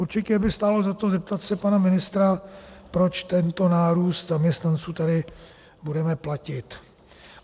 Určitě by stálo za to zeptat se pana ministra, proč tento nárůst zaměstnanců tady budeme platit.